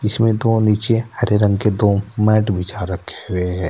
इसमें दो नीचे हरे रंग के दो मैंट बिछा रखे हुए हैं।